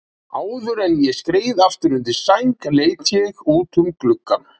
Áður en ég skreið aftur undir sæng leit ég út um gluggann.